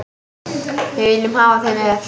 Við viljum hafa þig með.